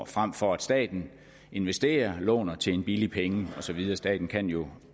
frem for at staten investerer låner til en billig penge og så videre staten kan jo